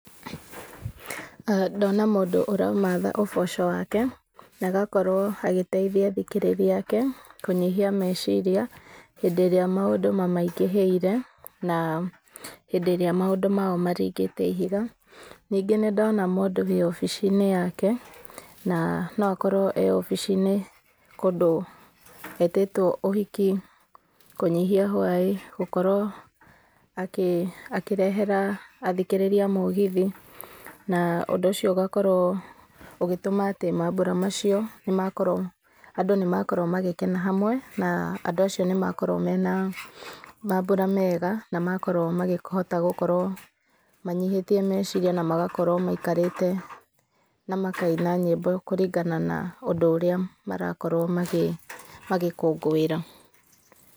Aa Ndona mũndũ ũramatha ũboco wake, na agakorwo agĩteithia athĩkĩrĩria ake kũnyihia meciria, hĩndĩ ĩrĩa maũndũ mamaingĩhĩire, na hĩndĩ ĩrĩa maũndũ mao maringĩte ihiga. Ningĩ nĩndona mũndũ wĩwabici-inĩ yake, na noakorwo ewabici-inĩ kũndũ etĩtwo ũhiki, kũnyihia hwaĩ, gũkorwo akĩrehera athikĩrĩria mũgithi, na ũndũ ũcio ũgakorwo ũgĩtũma mambũra macio andũ nĩmakorwo magĩkena hamwe, na andũ acio nĩmakorwo mena mambũra mega, na makorwo makĩhota gũkorwo manyihĩtie meciria na magakorwo maikarĩte na makaina nyĩmbo kũringana na ũndũ ũrĩa marakorwo magĩkũngũĩra.